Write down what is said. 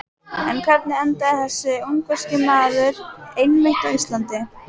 En hvernig endaði þessi ungverski markmaður einmitt á Íslandi?